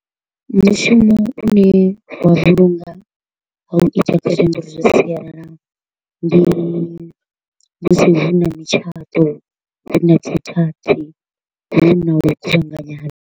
Mushumo une wa vhulunga ha u ita calendar zwa sialala ndi musi hu na mutshato, hu na , hu na u kuvhanganya ha.